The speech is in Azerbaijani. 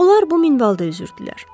Onlar bu minvalla üzürdülər.